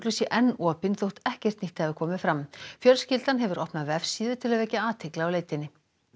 sé enn opin þótt ekkert nýtt hafi komið fram fjölskyldan hefur opnað vefsíðu til að vekja athygli á leitinni